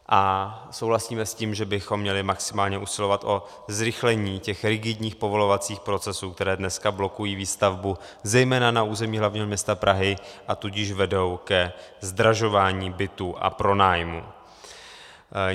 A souhlasíme s tím, že bychom měli maximálně usilovat o zrychlení těch rigidních povolovacích procesů, které dneska blokují výstavbu zejména na území hlavního města Prahy, a tudíž vedou ke zdražování bytů a pronájmů.